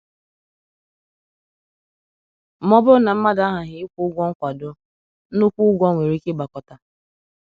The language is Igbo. Ma ọ bụrụ na mmadụ aghaghị ịkwụ ụgwọ nkwado, nnukwu ụgwọ nwere ike ịgbakọta.